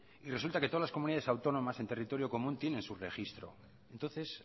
y resulta que todas las comunidades autónomas en territorio común tienen su registro entonces